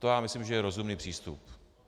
To já myslím, že je rozumný přístup.